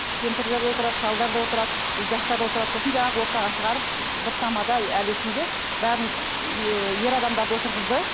кемпірлер де отырады шалдар да отырады жастар да отырады сосын жаңағы ортаға шығарып бір тамада әлі есімде бәрін ііі ер адамдарды отырғызды